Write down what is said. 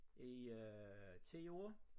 I øh 10 år